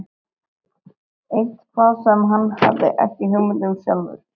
Eitthvað sem hann hafði ekki hugmynd um sjálfur.